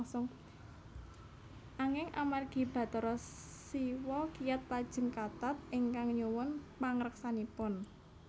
Anging amargi Bathara Siwa kiyat lajeng kathat ingkang nyuwun pangreksanipun